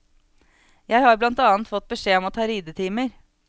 Jeg har blant annet fått beskjed om å ta ridetimer.